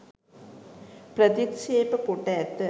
ප්‍රතික්ෂේප කොට ඇත